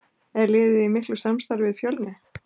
Er liðið í miklu samstarfi við Fjölni?